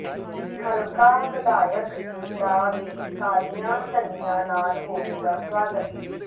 ਹਲਕਾ ਵਿਧਾਇਕ ਦਾ ਵੀ ਕਾਲੀਆਂ ਝੰਡੀਆਂ ਨਾਲ ਹੋਵੇਗਾ ਸਵਾਗਤ